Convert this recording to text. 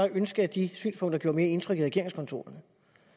ønske at de synspunkter gjorde mere indtryk i regeringskontorerne